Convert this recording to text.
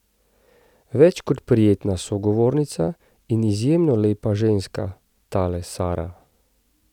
Več kot prijetna sogovornica in izjemno lepa ženska, tale Sara.